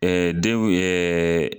Ɛɛ denw ɛɛ